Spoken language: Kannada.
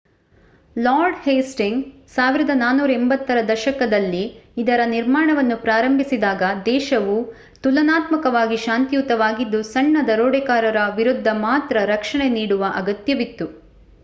ಲಾರ್ಡ್ ಹೇಸ್ಟಿಂಗ್ಸ್ 1480 ರ ದಶಕದಲ್ಲಿ ಇದರ ನಿರ್ಮಾಣವನ್ನು ಪ್ರಾರಂಭಿಸಿದಾಗ ದೇಶವು ತುಲನಾತ್ಮಕವಾಗಿ ಶಾಂತಿಯುತವಾಗಿದ್ದು ಸಣ್ಣ ದರೋಡೆಕೋರರ ವಿರುದ್ಧ ಮಾತ್ರ ರಕ್ಷಣೆ ನೀಡುವ ಅಗತ್ಯವಿತ್ತು